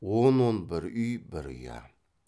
он он бір үй бір ұя